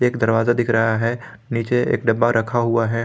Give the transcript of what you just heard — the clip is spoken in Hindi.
एक दरवाजा दिख रहा है नीचे एक डब्बा रखा हुआ है।